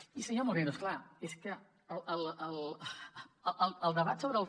i senyor moreno és clar és que el debat sobre el